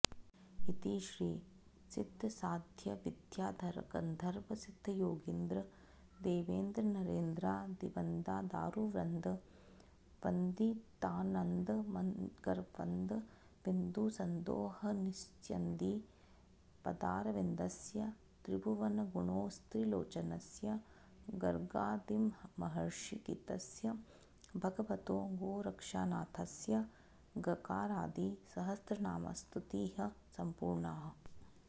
इति श्री सिद्धसाध्यविद्याधरगन्धर्वसिद्धयोगीन्द्र देवेन्द्रनरेन्द्रादिवन्दादारुवृन्द वन्दितानन्दमकरन्दविन्दुसन्दोहनिस्यन्दिपदारविन्दस्य त्रिभुवनगुणोस्त्रिलोचनस्य गर्गादिमहर्षिगीतस्य भगवतो गोरक्षनाथस्य गकारादि सहस्रनामस्तुतिः सम्पूर्णा